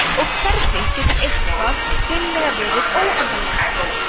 og hvernig getur eitthvað hreinlega verið óendanlegt